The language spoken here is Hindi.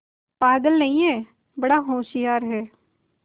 पागल नहीं हैं बड़ा होशियार है